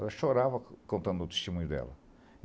Ela chorava contando o testemunho dela.